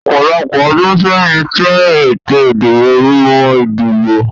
Ọ̀pọ̀lọpọ̀ ọdún sẹ́yìn, ìṣe ètò ìdìbò mọ ìdìbò